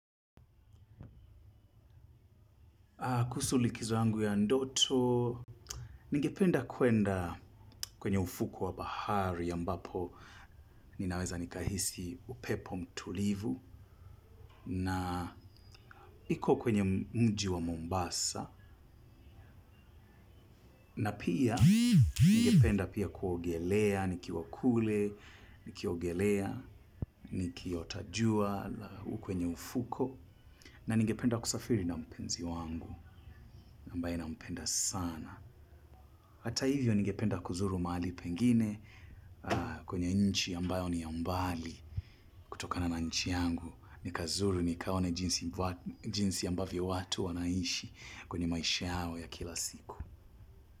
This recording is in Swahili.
Kuhusu likizo yangu ya ndoto, ningependa kwenda kwenye ufuko wa bahari ambapo ninaweza nikahisi upepo mtulivu na iko kwenye mji wa Mombasa. Na pia, ningependa pia kuogelea, nikiwa kule, nikiogelea, nikiota jua kwenye ufuko na ningependa kusafiri na mpenzi wangu, ambaye nampenda sana. Hata hivyo ningependa kuzuru mahali pengine kwenye nchi ambayo ni ya mbali kutokana na nchi yangu nikazuru nikaone jinsi jinsi yambavyo watu wanaishi kwenye maisha yao ya kila siku.